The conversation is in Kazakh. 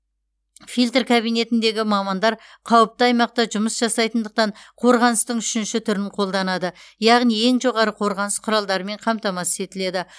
фильр кабинетіндегі мамандар қауіпті аймақта жұмыс жасайтындықтан қорғаныстың үшінші түрін қолданады яғни ең жоғары қорғаныс құралдарымен қамтамасыз етіледі